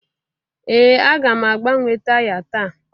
Ee aga m agbanwe taya taa